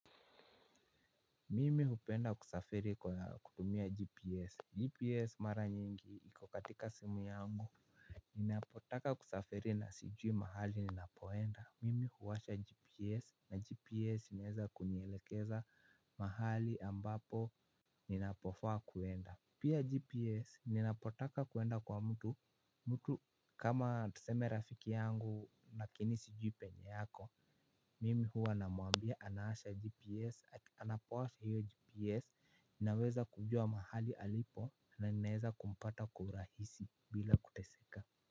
Mimi hupenda kusafiri kwa kutumia gps. GPS mara nyingi iko katika simu yangu. Ninapotaka kusafiri na sijui mahali ninapoenda, mimi huwasha gps na gps inaweza kunielekeza mahali ambapo ninapofaa kwenda. Pia gps ninapotaka kwenda kwa mtu, mtu kama tuseme rafiki yangu lakini sijui penye ako. Mimi huwa namwambia anawasha GPS, ati anapowasha hiyo GPS ninaweza kujua mahali alipo na ninaweza kumpata kwa urahisi bila kuteseka.